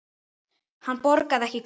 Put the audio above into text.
Hann borgaði ekki krónu.